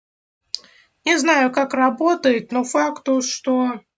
не знаю как работает но факт то что